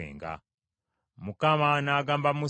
Mukama n’agamba Musa nti,